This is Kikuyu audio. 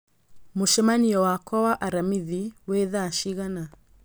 mũcemanio wakwa wa aramithi wĩ thaa cigana